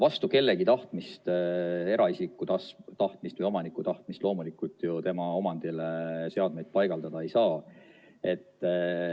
Vastu kellegi tahtmist, eraisiku tahtmist või omaniku tahtmist, loomulikult ju tema omandile seadmeid paigaldada ei saa.